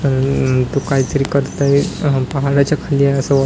उम तो काय तरी करतोय खोली आहे असं वा --